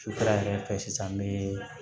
Sufɛla yɛrɛ fɛ sisan n bɛ